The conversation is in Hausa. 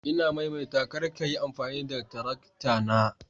Ina maimaita kar ka Yi amfani da tarakta na